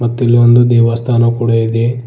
ಮತ್ತು ಇಲ್ಲಿ ಒಂದು ದೇವಸ್ಥಾನ ಕೂಡ ಇದೆ.